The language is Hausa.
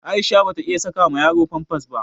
Aisha bata iya saka ma yaro famfas ba.